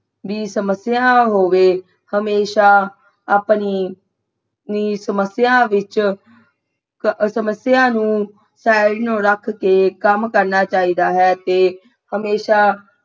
ਵੀ ਸਮਸਿਆ ਹੋਵੇ ਹਮੇਸ਼ਾ ਆਪਣੀ ਨੀ ਸਮਸਿਆ ਵਿਚ ਅਹ ਸਮਸਿਆ ਨੂੰ ਨੂੰ ਰੱਖ ਕੇ ਕੰਮ ਕਰਨਾ ਚਾਹੀਦਾ ਹੈ ਤੇ ਹਮੇਸ਼ਾ